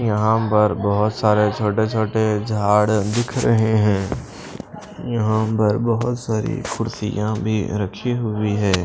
यहां पर बहोत सारे छोटे छोटे झाड़ दिख रहे है यहां पर बहोत सारी कुर्सियां भी रखी हुई है।